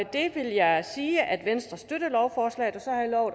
det vil jeg sige at venstre støtter lovforslaget